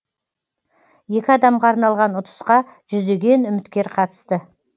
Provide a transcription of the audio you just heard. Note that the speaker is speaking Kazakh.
екі адамға арналған ұтысқа жүздеген үміткер қатысты